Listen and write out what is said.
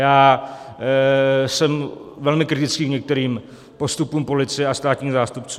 Já jsem velmi kritický k některým postupům policie a státních zástupců.